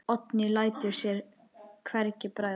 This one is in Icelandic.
Oddný lætur sér hvergi bregða.